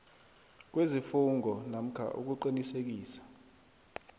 kwesifungo namkha ukuqinisekisa